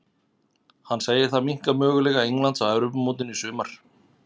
Hann segir það minnka möguleika Englands á Evrópumótinu í sumar.